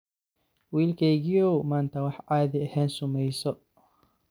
Wilkegiyow manta wax caadi ehen sumeyso.